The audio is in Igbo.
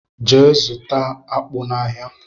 Gee zụta akpu na áhiá!!!!!